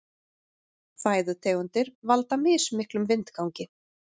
Fæðutegundir valda mismiklum vindgangi.